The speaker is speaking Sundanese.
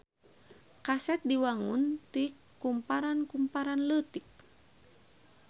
Kaset diwangun ti kumparan-kumparan leutik.